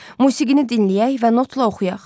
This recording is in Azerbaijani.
Musiqini dinləyək və notla oxuyaq.